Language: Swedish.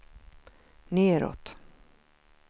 nedåt